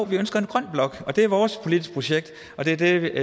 vi ønsker en grøn blok og det er vores politiske projekt og det er det